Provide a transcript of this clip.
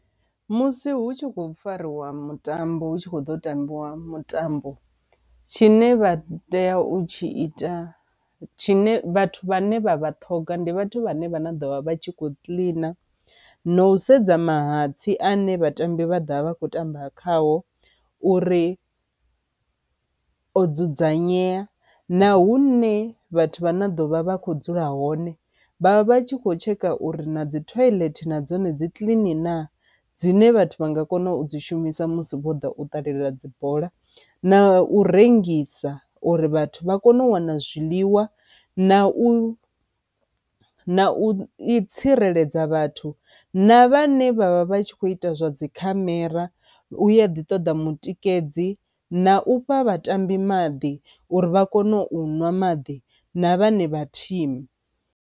Musi hu tshi khou fariwa mutambo hu tshi kho ḓo tambiwa mutambo, tshine vha tea u tshi ita tshine vhathu vhane vha vha ṱhoga ndi vhathu vhane vha na ḓo vha vha tshi kho kiḽina na u sedza mahatsi ane vhatambi vha ḓovha vha kho tamba khao uri o dzudzanyea na hune vhathu vha na ḓovha vha kho dzula hone vha vha tshi kho tsheka uri na dzi thoilethe na dzone dzi kiḽini na dzine vhathu vha nga kona u dzi shumisa musi vho ḓa u ṱalela dzi bola, na u rengisa uri vhathu vha kone u wana zwiḽiwa. Na u na u i tsireledza vhathu na vhane vhavha vhatshi kho ita zwa dzi khamera u ya ḓi ṱoḓa mutikedzi, na u fha vhatambi maḓi uri vha kone u ṅwa maḓi na vhane vha thimu.